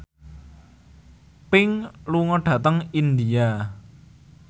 Pink lunga dhateng India